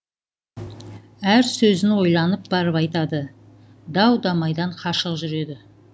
әр сөзін ойланып барып айтады дау дамайдан қашық жүреді